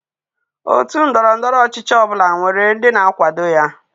Otú ndọrọ ndọrọ ọchịchị ọ bụla nwere ndị na-akwado ya.